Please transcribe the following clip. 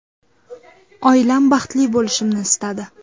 Oilam baxtli bo‘lishimni istadi.